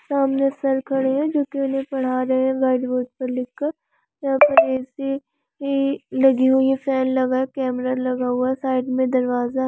सामने सर खड़े हैं जो की इनहे पढ़ा रहे हैं व्हाइट बोर्ड पर लिखकर इहा पर ऐ.सी. -इ लगी हुई है फन लगा कैमरा लगा हुआ साइड में दरवाजा--